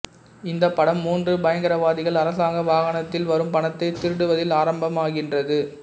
இந்த படம் மூன்று பயங்கரவாதிகள் அரசாங்க வாகனத்தில் வரும் பணத்தை திருடுவதில் ஆரம்பமாகின்றது